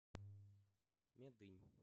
медынь